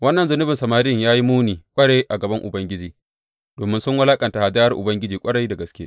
Wannan zunubin samarin ya yi muni ƙwarai a gaban Ubangiji, domin sun wulaƙanta hadayar Ubangiji, ƙwarai da gaske.